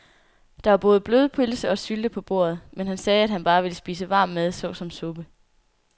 Der var både blodpølse og sylte på bordet, men han sagde, at han bare ville spise varm mad såsom suppe.